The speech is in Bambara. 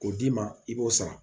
K'o d'i ma i b'o sara